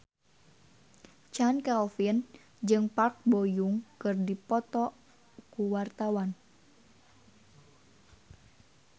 Chand Kelvin jeung Park Bo Yung keur dipoto ku wartawan